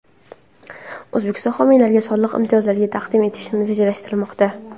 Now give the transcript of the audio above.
O‘zbekistonda homiylarga soliq imtiyozlarini taqdim etish rejalashtirilmoqda.